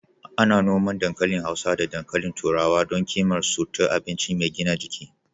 Ana noman dankali hausa da dankalin turawa don ƙimar su ta abinci mai gina jiki.